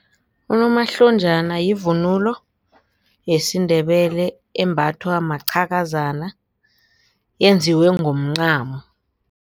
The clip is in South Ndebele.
Unomahlonjana yivunulo yesiNdebele embathwa maqhakazana yenziwe ngomncamo.